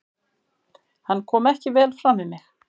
Hann kom ekki vel fram við mig.